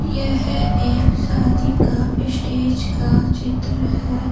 यह एक शादी का स्टेज का चित्र है।